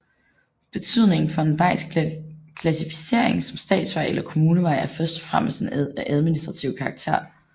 Betydningen for en vejs klassificering som statsvej eller kommunevej er først og fremmest af administrativ karakter